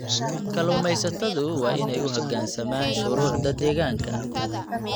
Kalluumaysatadu waa inay u hoggaansamaan shuruucda deegaanka.